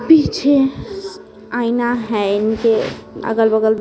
पीछे आईना है इनके अगल-बगल--